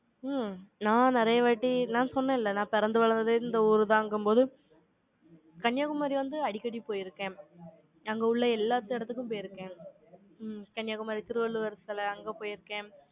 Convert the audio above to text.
ம், நான் நிறையவாட்டி, நான் சொன்னேன்ல, நான் பிறந்து வளர்ந்தது, இந்த ஊருதாங்கும்போது, கன்னியாகுமரி வந்து, அடிக்கடி போயிருக்கேன். அங்க உள்ள, எல்லா இடத்துக்கும் போயிருக்கேன். ம், கன்னியாகுமரி, திருவள்ளுவர் சிலை, அங்க போயிருக்கேன்.